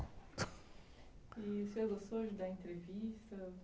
E o senhor gostou de dar entrevista?